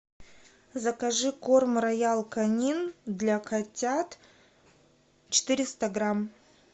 закажи корм роял канин для котят четыреста грамм